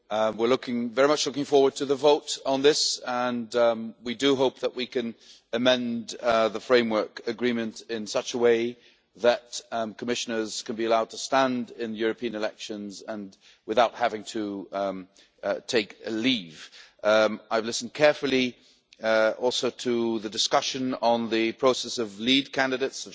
We are very much looking forward to the vote on this and we hope that we can amend the Framework Agreement in such a way that Commissioners could be allowed to stand in European elections without having to take leave. I have also listened carefully to the discussion on the process of lead candidates